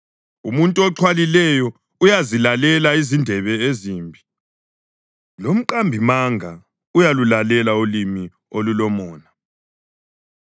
Umuntu oxhwalileyo uyazilalela izindebe ezimbi; lomqambimanga uyalulalela ulimi olulomona.